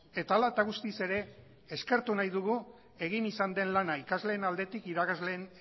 eta hala eta guztiz ere eskertu nahi dugu egin izan den lana ikasleen aldetik irakasleen